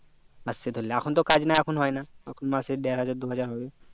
আচ্ছা তাহলে এখন তো কাজ নাই এখন হয় না এখন মাসে দেড় হাজার দু হাজার হবে